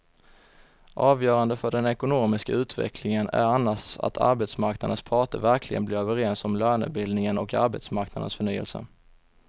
Avgörande för den ekonomiska utvecklingen är annars att arbetsmarknadens parter verkligen blir överens om lönebildningen och arbetsmarknadens förnyelse.